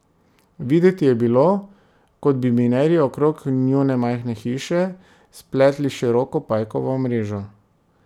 Videti je bilo, kot bi minerji okrog njune majhne hiše spletli široko pajkovo mrežo.